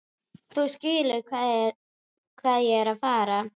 Þú skilur hvað ég er að fara.